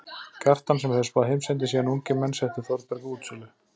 Kjartan sem hefur spáð heimsendi síðan ungir menn settu Þórberg á útsölu.